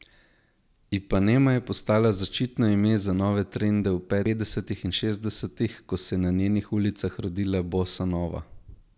Ipanema je postala zaščitno ime za nove trende v petdesetih in šestdesetih, ko se je na njenih ulicah rodila bossa nova.